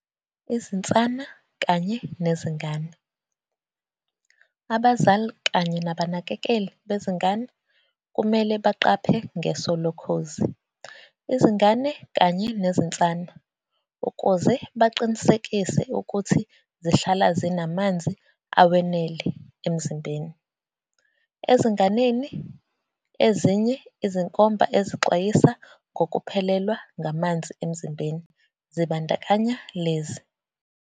Izinsana kanye nezingane. Abazali kanye nabanakekeli bezingane kumele baqaphe ngeso lokhozi izingane kanye nezinsana, ukuze baqinisekise ukuthi zihlala zinamanzi awenele emzimbeni. Ezinganeni, ezinye izinkomba ezixwayisa ngokuphelelwa ngamanzi emzimbeni zibandakanya lezi.